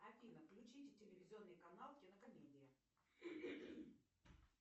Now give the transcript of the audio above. афина включите телевизионный канал кинокомедия